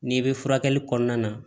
N'i bɛ furakɛli kɔnɔna na